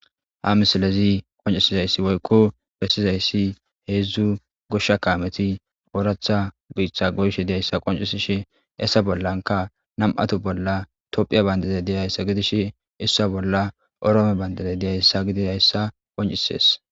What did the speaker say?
Ha misilezi qoncisizayssi woykko bessizayssi heedzdzu goshsha kaameti ooratha biitha goyshe diyayssa qoncisishe essa bollanka namato bolla tophiya bayndaze diyayssa gidish issa bolla oroome bayndade diyayssa gidirayssa qoncisees